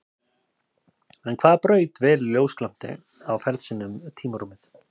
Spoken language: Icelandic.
En hvaða braut velur ljósglampi á ferð sinni um tímarúmið?